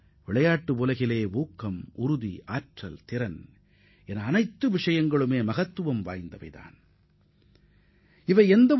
விளையாட்டு உலகில் மனநிலை வலிமை திறன் உடல் வலிமை ஆகிய ஒவ்வொன்றும் மிகவும் முக்கியமானவையாகும்